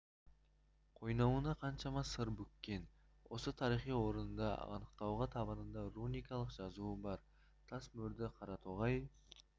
қойнауына қаншама сыр бүккен осы тарихи орынды анықтауға табанында руникалық жазуы бар тас мөрді қаратоғай